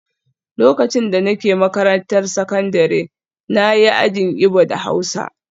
Lokacin da nake makarantar sakandare na yi ajin Igbo da Hausa